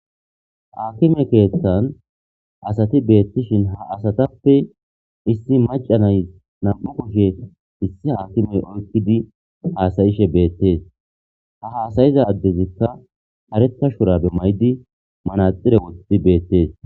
Akime keeththan asati beettishin ha asatappe issi macanay nam'u koshe issi aakimey oykkidi haasayishe beettees ha haasayiza addezikka areta shurabe maydi manaxire wotidi beettees.